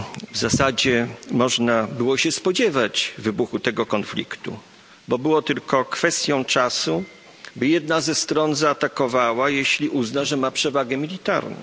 W zasadzie można było się spodziewać wybuchu tego konfliktu, bo było tylko kwestią czasu, by jedna ze stron zaatakowała, jeśli uzna, że ma przewagę militarną.